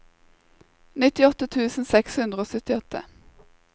nittiåtte tusen seks hundre og syttiåtte